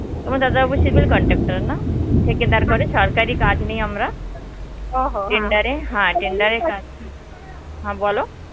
তোমার দাদাবাবু civil contractor না. থেকে তারপরে সরকারী কাজ নিই আমরা tender এ হ্যাঁ কাজ, হ্যাঁ বলো?